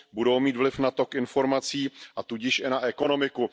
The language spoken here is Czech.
Budou mít vliv na tok informací, a tudíž i na ekonomiku.